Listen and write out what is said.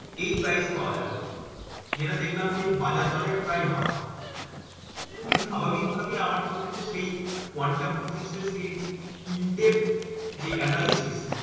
এই price এ পাওয়া যাবে যেটা দেখলাম যে, বাজার দরের প্রায় half. তো স্বাভিকভাবেই আমার কিন্তু সেই quantum physics এর সেই in depth যে analysis